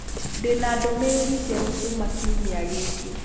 Ndĩ na ndũmĩrĩri njerũ kuuma kiumia gĩkĩ